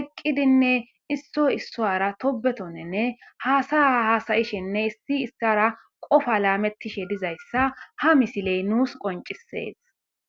eqqidinne isso issoara tobetonnenne haasaya hasayishenne issi issara qofa laamettishe dizayssa ha misiley nuus qoncisees.